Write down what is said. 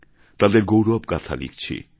তাদের গৌরবগাথা লিখছি